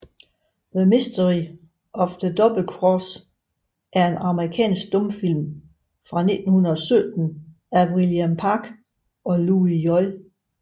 The Mystery of the Double Cross er en amerikansk stumfilm fra 1917 af William Parke og Louis J